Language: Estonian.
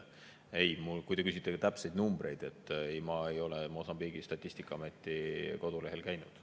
Kui te küsite täpseid numbreid – ei, ma ei ole Mosambiigi statistikaameti kodulehel käinud.